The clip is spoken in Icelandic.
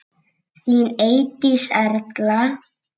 Þín Eydís Erla.